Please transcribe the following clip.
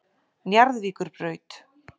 Njarðvíkurbraut